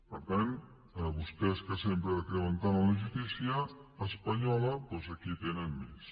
per tant vostès que sempre creuen tant en la justícia espanyola doncs aquí en tenen més